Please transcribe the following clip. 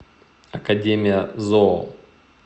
академия зоо